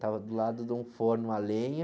Tava do lado de um forno a lenha.